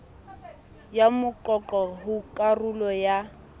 ya moqoqo ho karolo ya